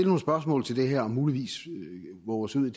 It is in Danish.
nogle spørgsmål til det her og muligvis vove os ud i